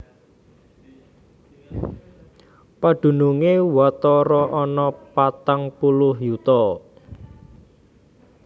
Padunungé watara ana patang puluh yuta